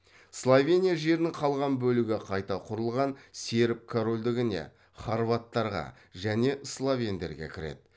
словения жерінің қалған бөлігі қайта құрылған серб корольдігіне хорваттарға және словендерге кіреді